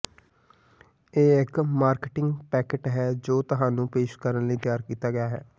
ਇਹ ਇਕ marketing packet ਹੈ ਜੋ ਤੁਹਾਨੂੰ ਪੇਸ਼ ਕਰਨ ਲਈ ਤਿਆਰ ਕੀਤਾ ਗਿਆ ਹੈ